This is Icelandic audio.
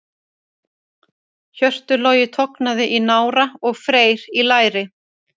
Hjörtur Logi tognaði í nára og Freyr í læri.